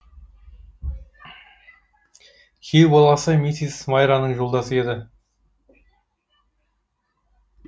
күйеу баласы миссис майраның жолдасы еді